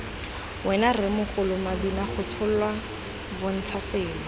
wena rremogolo mabinagotsholwa bontsha selo